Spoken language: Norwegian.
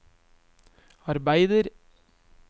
arbeider